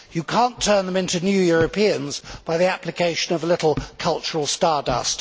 You cannot turn them into new Europeans by the application of a little cultural stardust.